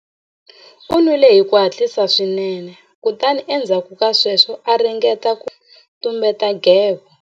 U nwile hi ku hatlisa swinene kutani endzhaku ka sweswo a ringeta ku tumbeta nghevo.